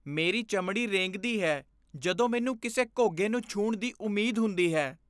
ਮੇਰੀ ਚਮੜੀ ਰੇਂਗਦੀ ਹੈ ਜਦੋਂ ਮੈਨੂੰ ਕਿਸੇ ਘੋਗੇ ਨੂੰ ਛੂਹਣ ਦੀ ਉਮੀਦ ਹੁੰਦੀ ਹੈ।